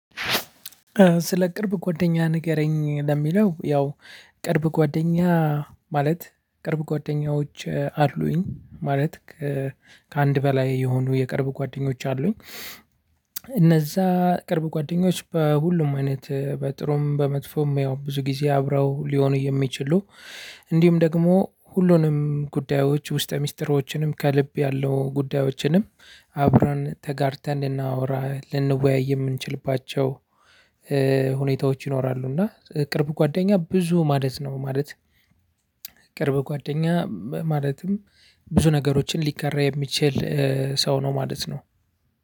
ስለ ቅርብ ጓደኛህ ንገረኝ ለሚለው ያው ቅርብ ጓደኛ ማለት ቅርብ ጓደኞች አሉኝ ማለት ከአንድ በላይ የሆኑ የቅርብ ጓደኞች አሉኝ። እነዛ ቅርብ ጓደኞች በሁሉም አይነት በጥሩም በመጥፎም ያው ብዙ ጊዜ አብረው ሊሆኑ የሚችሉ። እንዲሁም ደግሞ ሁሉንም ጉዳዮች ውስጠ ሚስጥሮችንም ከልብ ያለው ጉዳዮችንም አብረን ተጋርተን ልናወራ ልንወያይ የምንችልባቸው ሁኔታዎች ይኖራሉ። እና ቅርብ ጓደኛ ብዙ ማለት ነው። ማለት ቅርብ ጓደኛ ማለትም ብዙ ነገሮችን ሊጋራ የሚችል ሰው ነው ማለት ነው።